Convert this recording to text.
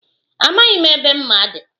Amaghị m ebe mma dị.